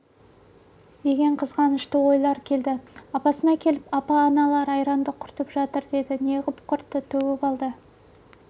деген қызғанышты ойлар келді апасына келіп апа аналар айранды құртып жатыр деді неғып құртты төгіп алды